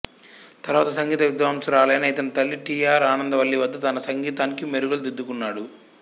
తరువాత సంగీత విద్వాంసురాలైన ఇతని తల్లి టి ఆర్ ఆనందవల్లివద్ద తన సంగీతానికి మెరుగులు దిద్దుకున్నాడు